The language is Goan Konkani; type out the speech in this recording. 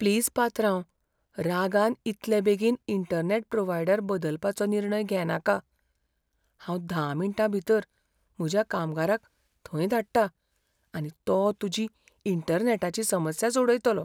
प्लिज पात्रांव, रागान इतले बेगीन इंटरनॅट प्रोव्हायडर बदलपाचो निर्णय घेनाका, हांव धा मिण्टां भितर म्हज्या कामगाराक थंय धाडटा, आनी तो तुजी इंटरनॅटाची समस्या सोडयतलो.